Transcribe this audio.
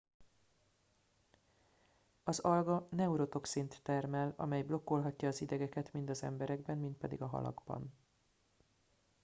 az alga neurotoxint termel amely blokkolhatja az idegeket mind az emberekben mind pedig a halakban